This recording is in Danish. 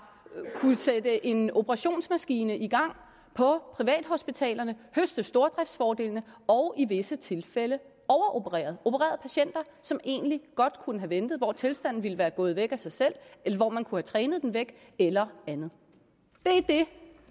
sat en operationsmaskine i gang på privathospitalerne som høstet stordriftsfordelene og i visse tilfælde overopereret opereret patienter som egentlig godt kunne have ventet hvor tilstanden ville være gået væk af sig selv eller hvor man kunne have trænet den væk eller andet